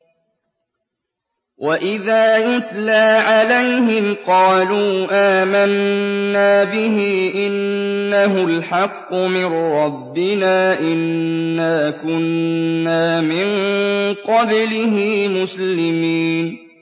وَإِذَا يُتْلَىٰ عَلَيْهِمْ قَالُوا آمَنَّا بِهِ إِنَّهُ الْحَقُّ مِن رَّبِّنَا إِنَّا كُنَّا مِن قَبْلِهِ مُسْلِمِينَ